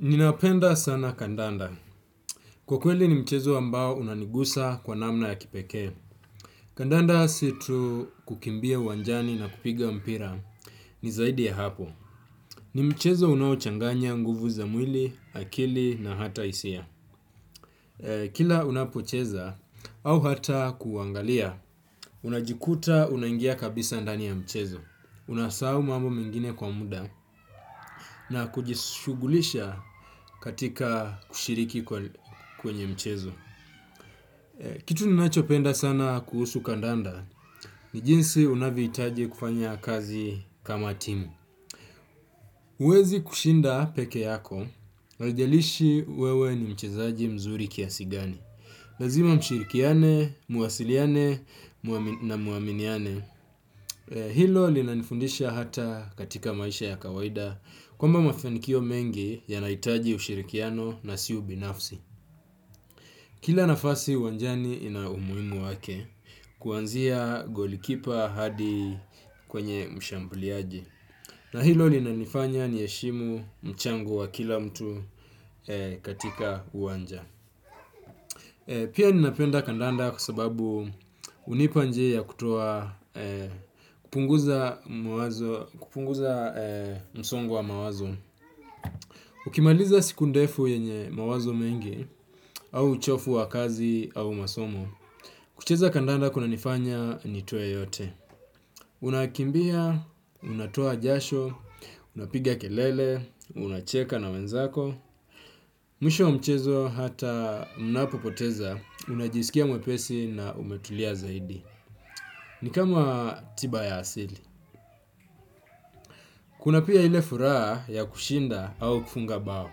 Ninapenda sana kandanda. Kwa kweli ni mchezo ambao unanigusa kwa namna ya kipekee. Kandanda si tu kukimbia uwanjani na kupiga mpira ni zaidi ya hapo. Ni mchezo unaochanganya nguvu za mwili akili na hata hisia. Kila unapocheza au hata kuangalia, unajikuta unangia kabisa ndani ya mchezo. Unasau mambo mengine kwa muda na kujishugulisha katika kushiriki kwenye mchezo. Kitu ninachopenda sana kuhusu kandanda, ni jinsi unavoitaji kufanya kazi kama timu. Uwezi kushinda peke yako, haijalishi wewe ni mchezaji mzuri kiasi gani. Lazima mshirikiane, muasiliane na muaminiane. Hilo linanifundisha hata katika maisha ya kawaida. Kwamba mafenikio mengi yanaitaji ushirikiano na si ubinafsi. Kila nafasi uwanjani inaumuingu wake kuanzia golikipa hadi kwenye mshambuliaji. Na hilo linanifanya nieshimu mchango wa kila mtu katika uwanja. Pia ninapenda kandanda kwa sababu unipanje ya kutoa kupunguza msongo wa mawazo. Ukimaliza siku ndefu yenye mawazo mengi au uchofu wa kazi au masomo. Kucheza kandanda kuna nifanya nitoe yote. Unakimbia, unatoa jasho, unapiga kelele, unacheka na wenzako. Mwisho wa mchezo hata unapopoteza, unajisikia mwepesi na umetulia zaidi. Ni kama tiba ya asili. Kuna pia ile furaha ya kushinda au kufunga bao.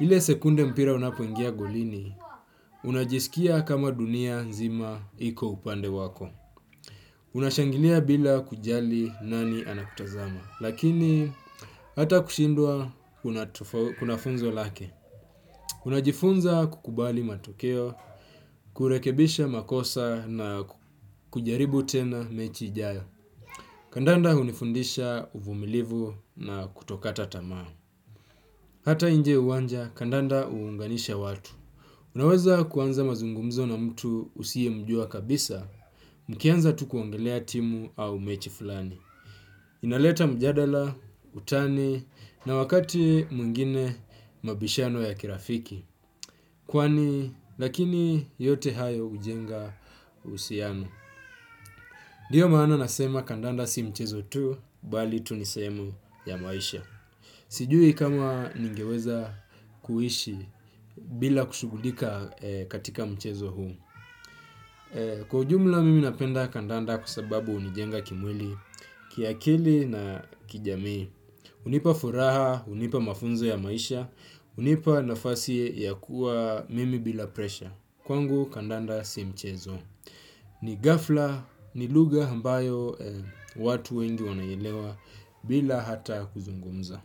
Ile sekunde mpira unapoingia golini, unajisikia kama dunia nzima iko upande wako. Unashanginia bila kujali nani anakutazama, lakini hata kushindwa unafunzo lake. Unajifunza kukubali matokeo, kurekebisha makosa na kujaribu tena mechi ijayo. Kandanda hunifundisha uvumilivu na kutokata tamaa. Hata inje uwanja, kandanda uunganisha watu. Unaweza kuanza mazungumizo na mtu usiye mjua kabisa, mkianza tu kuangelea timu au mechi fulani. Inaleta mjadala, utani, na wakati mwingine mabishano ya kirafiki. Kwani lakini yote hayo hujenga uhusiano. Dio maana nasema kandanda si mchezo tu, bali tu ni seemu ya maisha. Sijui kama ningeweza kuishi bila kushugulika katika mchezo huu. Kwa ujumla mimi napenda kandanda kwa sababu unijenga kimwili, kiakili na kijamii. Unipa furaha, unipa mafunzo ya maisha, unipa nafasi ya kuwa mimi bila presha. Kwangu kandanda si mchezo. Ni gafla, ni luga ambayo watu wengi wanaelewa bila hata kuzungumza.